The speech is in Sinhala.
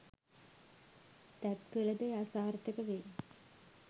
තැත් කළ ද එය අසාර්ථක වෙයි